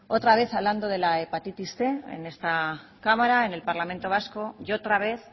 otra vez hablando de la hepatitis cien en esta cámara en el parlamento vasco y otra vez